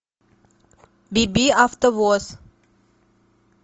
би би автовоз